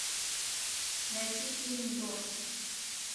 найти фильм дождь